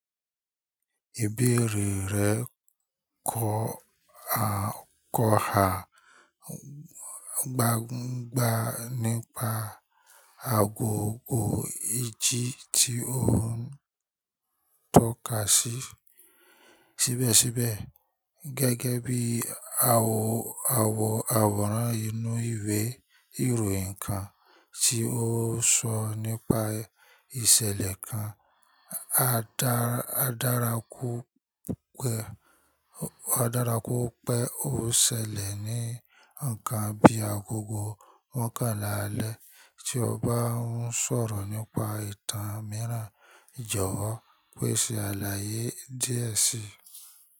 Ìbéèrè rẹ̀ kọ́ha gbangba nípa agogo ìjì tí o ń tọ́ka sí síbẹ̀síbẹ̀, gẹ́gẹ́ bí àwọ̀ awọ́ran inú ìwé ìròyìn kan tí ó sọ nípa ìṣẹ̀lẹ̀ kan. Adárá kú pé ó ṣẹlẹ̀ ní nkán bí agogo mọ́kànlá alẹ́. Tí ọ bá ń sọ̀rọ̀ nípa ìtàn mìíràn, jọ̀wọ́ pèsè àlàyé díẹ̀ síi.